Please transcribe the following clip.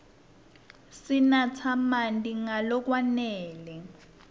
sinatse marti nga lokwanele